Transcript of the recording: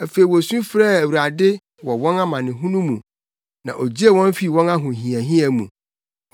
Afei wosu frɛɛ Awurade wɔ wɔn amanehunu mu, na ogyee wɔn fii wɔn ahohiahia mu.